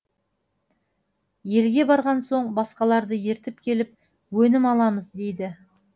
елге барған соң басқаларды ертіп келіп өнім аламыз дейді